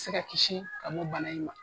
Se ka kisi ka bɔ bana in ma.